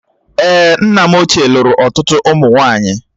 Èé, nna m ochie lụrụ ọtụtụ ụmụ nwaanyị.